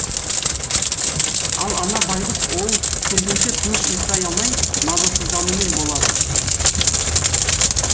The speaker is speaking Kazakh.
ал ана байғұс ол келгенше тыныш ұйықтай алмай мазасызданумен болады